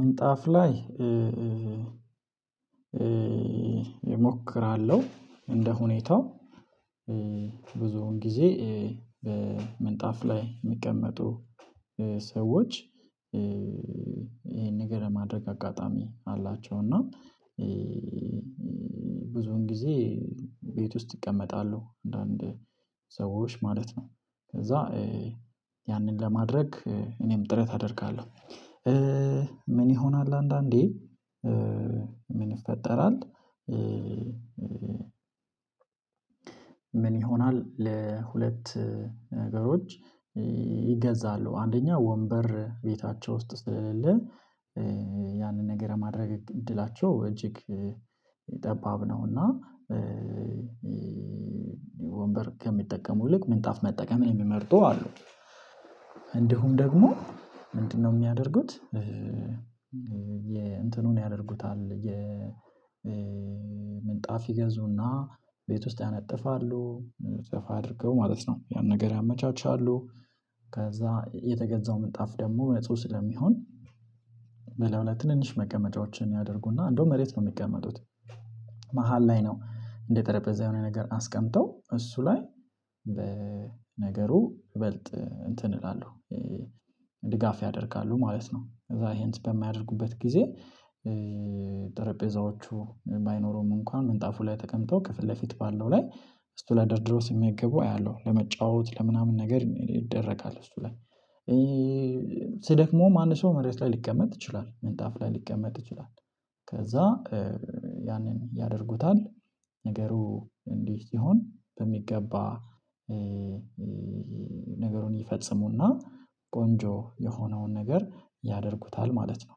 ምንጣፍ ላይ። እሞክራለሁ እንደ ሁኔታው ብዙውን ጊዜ በምንጣፍ ላይ የሚቀመጡ ሰዎች ይሄን ነገር ለማድረግ አጋጣሚ አላቸው። እና ብዙውን ጊዜ ቤት ውስጥ ይቀመጣሉ። አንዳንድ ሰዎች ማለት ነው ከዛ ያንን ለማድረግ እኔም ጥረት አደርጋለሁ። ምን ይሆናል አንዳንዴ ምን ይፈጠራል? ምን ይሆናል ለሁለት ነገሮች ይገዛሉ አንደኛ ወንበር ቤታቸው ውስጥ ስለሌለ ያንን ነገር ማድረግ እድላቸው እጅግ ጠባብ ነው። እና ወንበር ከሚጠቀሙ ልክ ምንጣፍ መጠቀምን የሚመርጡ አሉ። እንዲሁም ደግሞ ምንድነው የሚያደርጉት? የእንትኑን ያደርጉታል የምንጣፍ ይገዙና ቤት ውስጥ ያነጥፋሉ ምንጣፍ አድርገው ማለት ነው ያን ነገር ያመቻቻሉ። ከዛ የተገዛው ምንጣፍ ደግሞ ነጹህ ስለሚሆን በላዩ ላይ ትንንሽ መቀመጫዎችን ያደርጉና እንደውም መሬት ነው የሚቀመጡት። መሃል ላይ ነው እንደጠረጴዛ የሆነ ነገር አስቀምጠው እሱ ላይ ነገሩ ይበልጥ እንትን እላለሁ ድጋፍ ያደርጋሉ ማለት ነው። ከዛ ይሄን በማያደርጉበት ጊዜ ጠረጴዛዎቹ ባይኖረውም እንኳን ምንጣፉ ላይ ተቀምጠው ከፊት ለፊት ባለው ላይ እሱ ላይ ደርድረው ሲመገቡ አያለሁ። ለመጫወት ለምናምን ነገር ይደረጋል እሱ ላይ ሲደክመው አንድ ሰው መሬት ላይ ሊቀመጥ ይችላል ምንጣፍ ላይ ሊቀመጥ ይችላል። ከዛ ያንን ያደርጉታል ነገሩ እንዲህ ሲሆን በሚገባ ነገሩን ይፈጽሙና ቆንጆ የሆነውን ነገር ያደርጉታል ማለት ነው።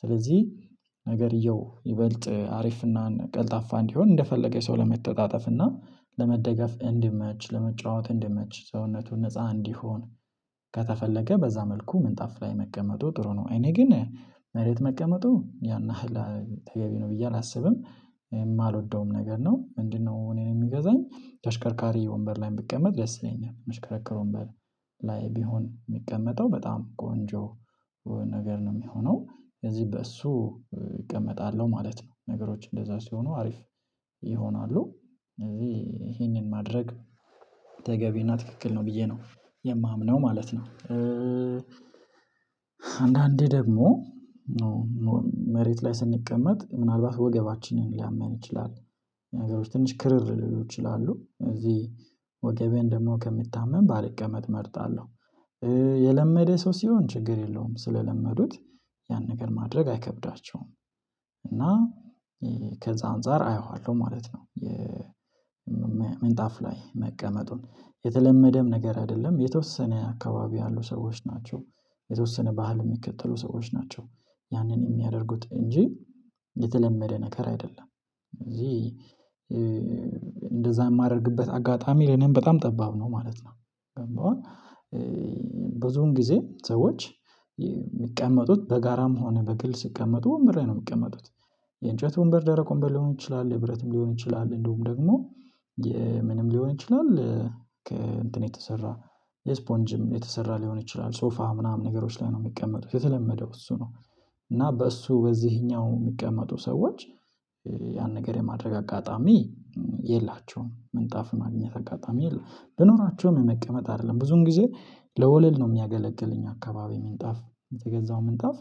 ስለዚህ ነገርየው ይበልጥ አሪፍና ቀልጣፋ እንዲሆን እንደፈለገ ሰው ለመተጣጠፍ እና ለመደገፍ እንዲመች ለመጫወት እንዲመች ሰውነቱን ነፃ እንዲሆን ከተፈለገ በዛ መልኩ ምንጣፍ ላይ መቀመጡ ጥሩ ነው። እኔ ግን መሬት መቀመጡን ያን ያህል ተገቢ ነው ብዬ አላስብም የማልወደውም ነገር ነው። ምንድነው እኔን የሚገዛኝ ተሽከርካሪ ወንበር ላይ የምትቀመጥ ደስ ይለኛል የሚሽከረከሩን በር ላይ ቢሆን የሚቀመጠው በጣም ቆንጆ ነገር ነው። የሚሆነው ከዚህ በእሱ እቀመጣለሁ ማለት ነው። ነገሮች እንደዛ ሲሆኑ አሪፍ ይሆናሉ ስለዚህ ይሄንን ማድረግ ተገቢና ትክክል ነው ብዬ ነው የማምነው ማለት ነው። አንዳንዴ ደግሞ መሬት ላይ ስንቀመጥ ምናልባት ወገባችንን ሊያመን ይችላል ነገሮች ትንሽ ክርር ሊሉ ይችላሉ እዚህ ወገቤን ደግሞ ከምታመም ባልቀመጥ እመርጣለሁ። የለመደ ሰው ሲሆን ችግር የለውም ስለለመዱት ያን ነገር ማድረግ አይከብዳቸውም። እና ከዛ አንፃር አየዋለሁ ማለት ነው የምንጣፍ ላይ መቀመጡን የተለመደም ነገር አይደለም የተወሰነ አካባቢ ያሉ ሰዎች ናቸው። የተወሰነ ባህል የሚከተሉ ሰዎች ናቸው። ያንን የሚያደርጉት እንጂ የተለመደ ነገር አይደለም። እዚህ እንደዛ የማደርግበት አጋጣሚ ለእኔም በጣም ጠባብ ነው ማለት ነው። ብዙውን ጊዜ ሰዎች የሚቀመጡት በጋራም ሆነ በግል ሲቀመጡ ወንበር ነው የሚቀመጡት። የእንጨት ወንበር ደረቅ ወንበር ሊሆን ይችላል የብረትም ሊሆን ይችላል እንዲሁም ደግሞ የምንም ሊሆን ይችላል። ከእንትን የተሰራ የስፖንጅም የተሰራ ሊሆን ይችላል ሶፋ ምናምን ነገሮች ላይ ነው የሚቀመጡት የተለመደው እሱ ነው። እና በእሱ በዚህኛው የሚቀመጡ ሰዎች ያን ነገር የማድረግ አጋጣሚ የላቸውም ምንጣፍ ማግኘት አጋጣሚ የለም። ብኖራቸውም የመቀመጥ አይደለም ብዙን ጊዜ ለወለል ነው የሚያገለግል እኛ አካባቢ ምንጣፍ የተገዛው ምንጣፍ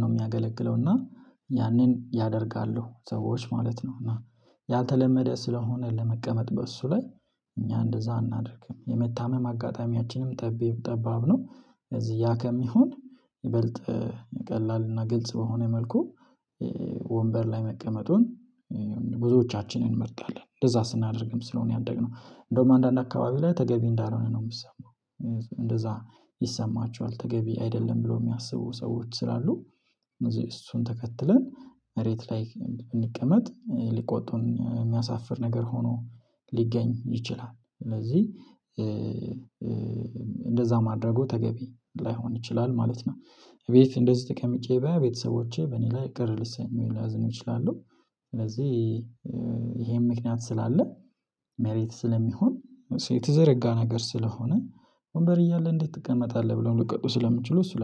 ነው የሚያገለግለው እና ያንን ያደርጋሉ ሰዎች ማለት ነው። እና ያልተለመደ ስለሆነ ለመቀመጥ በእሱ ላይ እኛ እንደዛ አናደርግም የመታመም አጋጣሚያችንም ጠባብ ነው። እዚህ ያ ከሚሆን ይበልጥ ቀላልና ግልጽ በሆነ መልኩ ወንበር ላይ መቀመጡን ብዙዎቻችንን እንመርጣለን። እንደዛ ስናደርግም ስለሆነ ያደግነው እንደውም አንዳንድ አካባቢ ላይ ተገቢ እንዳልሆነ ነው የሚሰማው እንደዛ ይሰማቸዋል ተገቢ አይደለም ብሎ የሚያስቡ ሰዎች ስላሉ እነዚህ እሱን ተከትለን መሬት ላይ ብንቀመጥ ሊቆጡን የሚያሳፍር ነገር ሆኖ ሊገኝ ይችላል። ስለዚህ እንደዛ ማድረጉ ተገቢ ላይሆን ይችላል ማለት ነው። ቤት እንደዚህ ተቀምጬ በቤተሰቦቼ በእኔ ላይ ቅር ሊሰኙ ወይም ሊያዝኑ ይችላለሁ። ስለዚህ ይሄን ምክንያት ስላለ መሬት ስለሚሆን የተዘረጋ ነገር ስለሆነ ወንበር እያለ እንዴት ትቀመጣለህ? ብለው ሊቆጡ ስለምችሉ እሱ ላለ